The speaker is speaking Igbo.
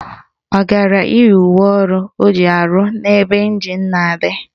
Ọ gara iyi uwe ọrụ o ji arụ n'ebe ịnjin na-adị?